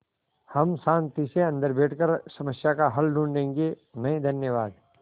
हम शान्ति से अन्दर बैठकर समस्या का हल ढूँढ़े गे नहीं धन्यवाद